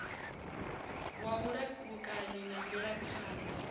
wa vhulamukanyi na mvelaphan ḓa